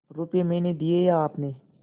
रुपये मैंने दिये या आपने